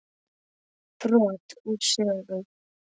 Brot úr sögu